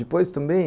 Depois, também,